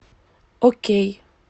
окей